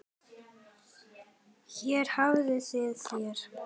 Hér hafið þið þær.